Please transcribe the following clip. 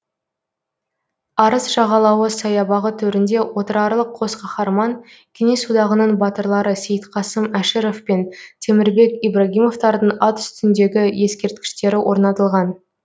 арыс жағалауы саябағы төрінде отырарлық қос қаһарман кеңес одағының батырлары сейітқасым әшіров пен темірбек ибрагимовтардың ат үстіндегі ескерткіштері орнатылған